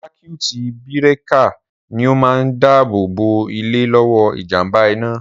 Sákíút bírékà ni o máa ń dáàbò bò ilé lọ́wọ́ ìjàmbá iná